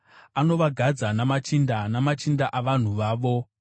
anovagadza namachinda, namachinda avanhu vavo.